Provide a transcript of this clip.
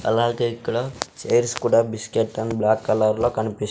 అలాగే ఇక్కడ చైర్స్ కూడా బిస్కెట్ అండ్ బ్లాక్ కలర్లో కనిపిస్ --